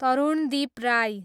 Tarundeep Rai